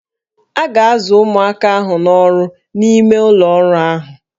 A ga-azụ ụmụaka ahụ n'ọrụ n'ime ụlọ ọrụ ahụ